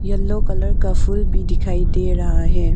Yellow colour का फूल भी दिखाई दे रहा है।